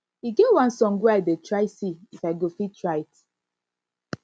e get one song wey i dey try to see if i go fit write